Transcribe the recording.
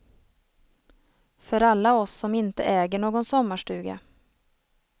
För alla oss som inte äger någon sommarstuga.